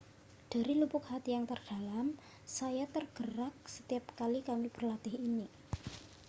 dari lubuk hati yang terdalam saya tergerak setiap kali kami berlatih ini